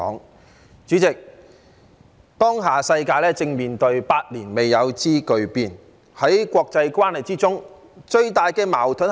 代理主席，當下世界正面對百年未有之巨變，在國際關係中最大的矛盾是甚麼？